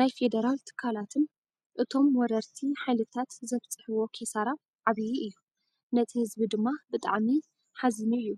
ናይ ፌደራል ትካላትን እቶም ወረርቲ ሓይልታት ዘብፅሕዎ ኪሳራ ዓብይ እዩ። ነቲ ህዝቢ ድማ ብጣዕሚ ሓዚኑ እዩ።